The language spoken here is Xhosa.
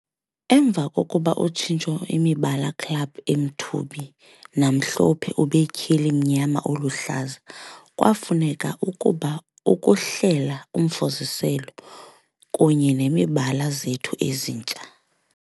"Emva kokuba utshintsho imibala club emthubi namhlophe ube tyheli mnyama oluhlaza, kwafuneka ukuba ukuhlela Umfuziselo kunye imibala zethu ezintsha.